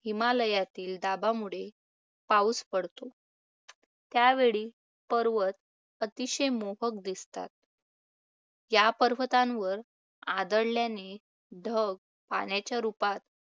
हिमालयातील दाबामुळे पाऊस पडतो. त्यावेळी पर्वत अतिशय मोहक दिसतात. या पर्वतांवर आदळल्याने ढग पाण्याच्या रुपात.